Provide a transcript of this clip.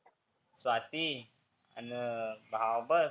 स्वाती, आन भाबत